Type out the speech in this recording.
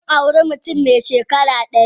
Zan aure mutum mai shekara dari.